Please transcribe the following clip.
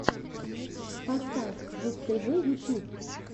поставь жук тв ютюб